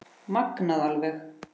Magnað alveg